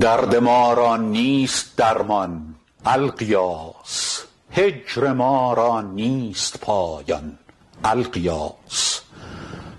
درد ما را نیست درمان الغیاث هجر ما را نیست پایان الغیاث